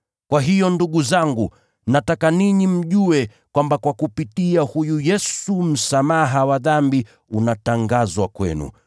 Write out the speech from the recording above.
“Kwa hiyo ndugu zangu, nataka ninyi mjue kwamba kwa kupitia huyu Yesu msamaha wa dhambi unatangazwa kwenu.